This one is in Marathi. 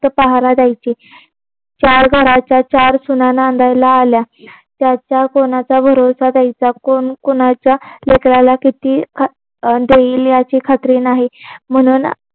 ते पाहायला जायची चार घराच्या चार सुना नांदायला आल्या त्याचा कोणाचा भरोसा द्यायचा कोण कोणाच्या लेकराला किती देईल याची खात्री नाही म्हणून